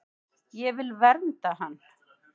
Ég vil vernda hann.